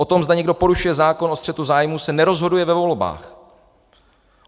O tom, zda někdo porušuje zákon o střetu zájmů, se nerozhoduje ve volbách.